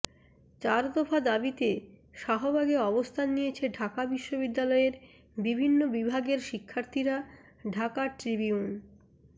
চার দফা দাবিতে শাহবাগে অবস্থান নিয়েছে ঢাকা বিশ্ববিদ্যালয়ের বিভিন্ন বিভাগের শিক্ষার্থীরা ঢাকা ট্রিবিউন